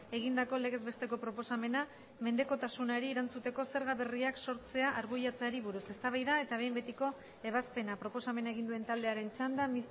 egindako legez besteko proposamena mendekotasunari erantzuteko zerga berriak sortzea arbuiatzeari buruz eztabaida eta behin betiko ebazpena proposamena egin duen taldearen txanda